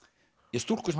ja stúlku sem